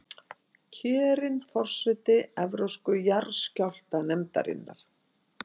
Kjörin forseti Evrópsku jarðskjálftanefndarinnar